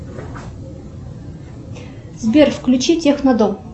сбер включи технодом